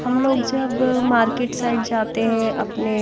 हम लोग जब मार्केट साइड जाते हैं अपने--